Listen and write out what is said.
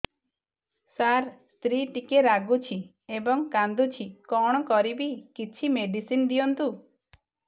ସାର ସ୍ତ୍ରୀ ଟିକେ ରାଗୁଛି ଏବଂ କାନ୍ଦୁଛି କଣ କରିବି କିଛି ମେଡିସିନ ଦିଅନ୍ତୁ